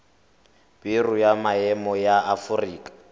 biro ya maemo ya aforika